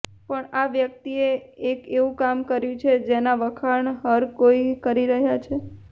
પણ આ વ્યક્તિએ એક એવું કામ કર્યું છે જેના વખાણ હર કોઈ કરી રહ્યા છે